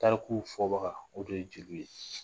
Tariku fɔbaga , o de ye jeliw ye.